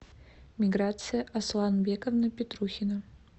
миграция асланбековна петрухина